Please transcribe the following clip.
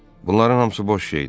Bunların hamısı boş şeydir.